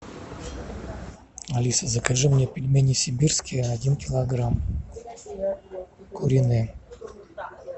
алиса закажи мне пельмени сибирские один килограмм куриные